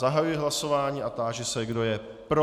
Zahajuji hlasování a táži se, kdo je pro.